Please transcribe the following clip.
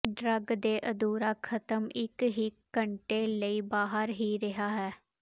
drug ਦੇ ਅਧੂਰਾ ਖਤਮ ਇੱਕ ਹੀ ਘੰਟੇ ਲਈ ਬਾਹਰ ਹੀ ਰਿਹਾ ਹੈ